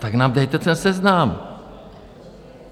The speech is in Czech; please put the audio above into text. Tak nám dejte ten seznam!